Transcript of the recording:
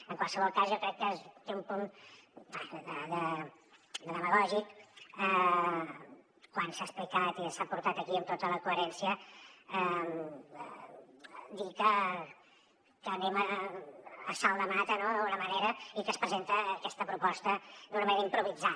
en qualsevol cas jo crec que té un punt de demagògic quan s’ha explicat i s’ha portat aquí amb tota la coherència dir que anem a la bona de déu no d’alguna manera i que es presenta aquesta proposta d’una manera improvisada